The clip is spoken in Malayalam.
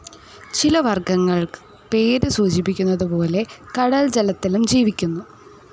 ചില വർഗ്ഗങ്ങൾ പേര് സൂചിപ്പിക്കുന്നതുപോലെ കടൽ ജലത്തിലും ജീവിക്കുന്നു.